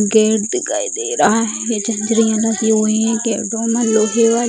gate दिखाई दे रहा है झांझरिया लगी हुई हैं डोना लोहे वाली --